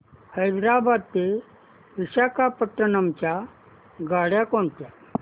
हैदराबाद ते विशाखापट्ण्णम च्या गाड्या कोणत्या